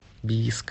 бийск